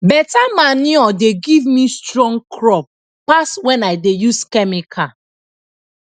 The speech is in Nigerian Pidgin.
beta manure dey give me strong crop pass when i dey use chemical